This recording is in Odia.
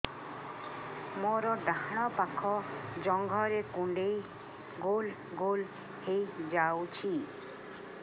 ମୋର ଡାହାଣ ପାଖ ଜଙ୍ଘରେ କୁଣ୍ଡେଇ ଗୋଲ ଗୋଲ ହେଇଯାଉଛି